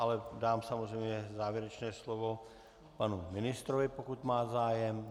Ale dám samozřejmě závěrečné slovo panu ministrovi, pokud má zájem.